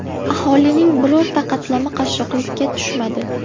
Aholining birorta qatlami qashshoqlikka tushmadi.